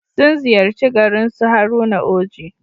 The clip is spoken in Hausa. Sun ziyarci garin su Haruna Oji.